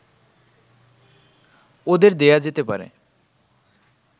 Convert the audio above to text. ওদের দেয়া যেতে পারে